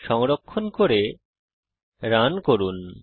সংরক্ষণ করে রান করুন